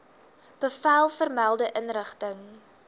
bevel vermelde inrigting